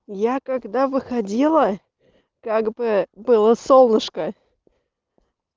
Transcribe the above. я когда выходила как бы было солнышко